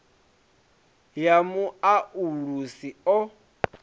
ya mu o ulusi u